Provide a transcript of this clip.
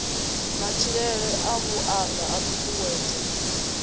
matshilele a vhuaḓa a ṱuṱuwedzwa